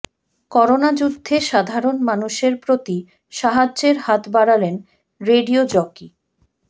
করোনাযুদ্ধে সাধারণ মানুষের প্রতি সাহায্যের হাত বাড়ালেন রেডিয়ো জকি